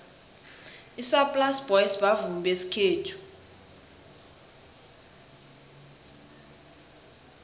isaplasi boys bavumi besikhethu